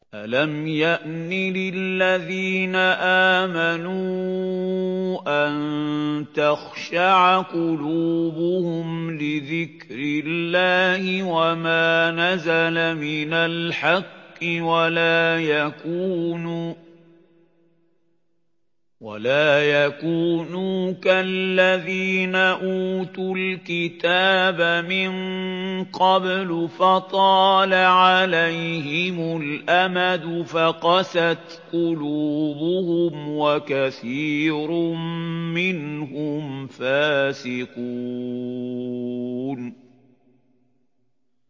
۞ أَلَمْ يَأْنِ لِلَّذِينَ آمَنُوا أَن تَخْشَعَ قُلُوبُهُمْ لِذِكْرِ اللَّهِ وَمَا نَزَلَ مِنَ الْحَقِّ وَلَا يَكُونُوا كَالَّذِينَ أُوتُوا الْكِتَابَ مِن قَبْلُ فَطَالَ عَلَيْهِمُ الْأَمَدُ فَقَسَتْ قُلُوبُهُمْ ۖ وَكَثِيرٌ مِّنْهُمْ فَاسِقُونَ